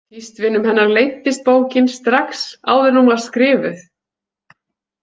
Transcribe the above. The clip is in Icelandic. Tístvinum hennar leiddist bókin strax áður en hún var skrifuð.